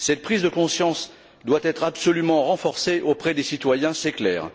Cette prise de conscience doit être absolument renforcée auprès des citoyens, c'est clair.